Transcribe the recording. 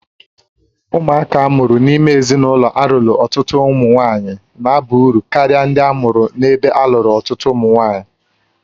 Ụmụaka a mụrụ n'ime ezinụlọ a lụrụ otu nwanyị na aba uru ndị a mụụrụ ebe alụrụ ọtụtụ ụmụ nwaanyị